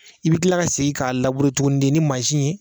I bɛ kila ka segin k'a tuguni de ni mansin ye.